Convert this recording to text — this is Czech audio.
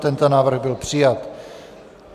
Tento návrh byl přijat.